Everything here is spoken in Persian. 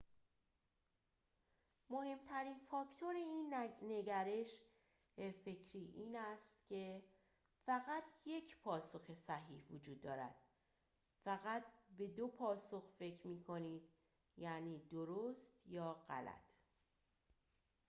مهمترین فاکتور این نگرش فکری این است که فقط یک پاسخ صحیح وجود دارد فقط به دو پاسخ فکر می‌کنید یعنی درست یا غلط